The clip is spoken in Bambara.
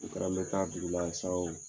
O kɛra ne ka dugula sa o